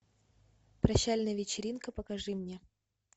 прощальная вечеринка покажи мне